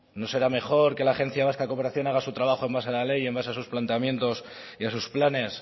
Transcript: no será mejor que la agencia vasca de cooperación haga su trabajo en base a la ley en base a sus planteamientos y a sus planes